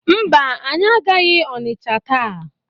Mba, anyị agaghị Ọnịcha taa.